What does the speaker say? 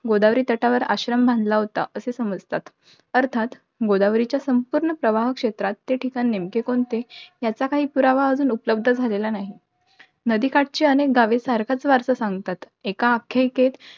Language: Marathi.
गोदावरी तटावर आश्रम बांधला होता असे समजतात. अर्थात गोदावरीच्या संपूर्ण प्रवाह क्षेत्रात, ते ठिकाण नेमके कोणते? याचा काही पुरावा उपलब्ध अजून झाला नाही. नदीकाठची अनेक गावे सारखाच वार्त सांगतात. एका आख्यायिकेत